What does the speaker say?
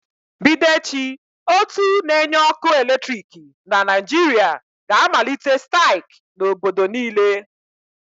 Bido echi, ótú na-enye ọkụ eletriki na Naịjirịa ga-amalite staịk n'obodo niile.